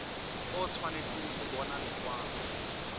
o tshwanetse go bona lekwalo